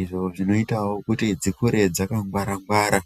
izvo zvinoite kuti dzikure dzakangwara.